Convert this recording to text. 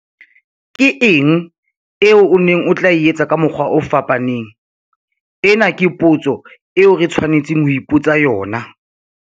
Ke eng eo o neng o tla e etsa ka mokgwa o fapaneng? Ena ke potso eo re tshwanetseng ho ipotsa yona.